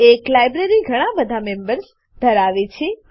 એક library library ઘણા બધા મેમ્બર્સ મેમ્બરો ધરાવે છે